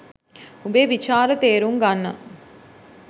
උඹේ විචාර තේරුම් ගන්න